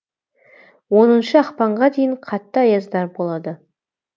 оныншы ақпанға дейін қатты аяздар болады